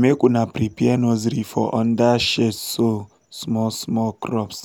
make una prepare nursery for under shadeso small small crops